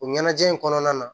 O ɲɛnajɛ in kɔnɔna na